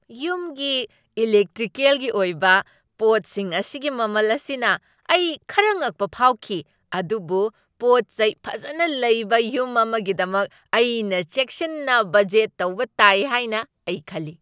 ꯌꯨꯝꯒꯤ ꯏꯂꯦꯛꯇ꯭ꯔꯤꯀꯦꯜꯒꯤ ꯑꯣꯏꯕ ꯄꯣꯠꯁꯤꯡ ꯑꯁꯤꯒꯤ ꯃꯃꯜ ꯑꯁꯤꯅ ꯑꯩ ꯈꯔ ꯉꯛꯄ ꯐꯥꯎꯈꯤ, ꯑꯗꯨꯕꯨ ꯄꯣꯠꯆꯩ ꯐꯖꯅ ꯂꯩꯕ ꯌꯨꯝ ꯑꯃꯒꯤꯗꯃꯛ ꯑꯩꯅ ꯆꯦꯛꯁꯤꯟꯅ ꯕꯖꯦꯠ ꯇꯧꯕ ꯇꯥꯏ ꯍꯥꯏꯅ ꯑꯩ ꯈꯜꯂꯤ꯫